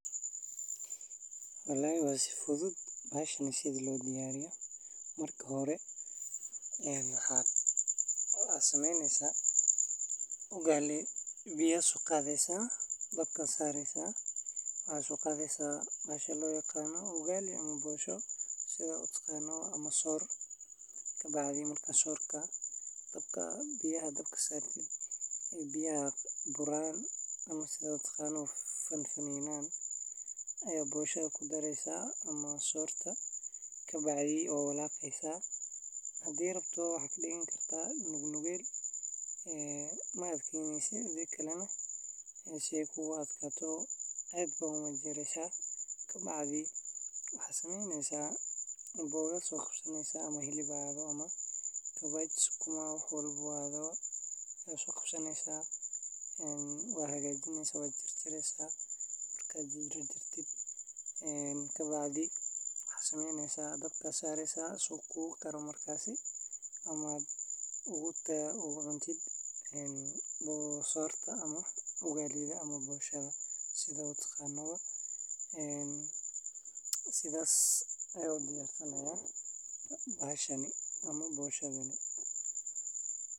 Wallahi waa si fudud bahashan sidaa loo diyariyo, marka hore waxa sumeynesa ugali biya so qadesa uu diyaar noqdo, waxaa laga soo saaraa digsiga waxaana loo dhigaa saxan ama weel kale, kadibna waxaa lala cunaa cuntooyin kale sida suugo hilib leh, khudaar, ama maraq digaag. Ugali waa cunto nafaqo leh oo jidhka siisa tamar, gaar ahaan marka lala socodsiiyo cuntooyin kale oo hodan ku ah borotiinka iyo fiitamiinnada, sidhas ayan u diyarsanaya bahashani ama boshadani.